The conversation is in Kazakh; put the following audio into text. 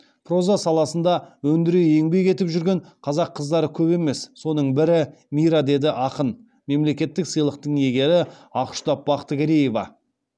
проза саласында өндіре еңбек етіп жүрген қазақ қыздары көп емес соның бірі мира деді ақын мемлекеттік сыйлықтың иегері ақұштап бақтыгереева